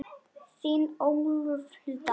Þín, Ólöf Hulda.